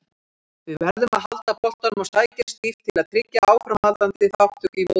Við verðum að halda boltanum og sækja stíft til að tryggja áframhaldandi þátttöku í mótinu.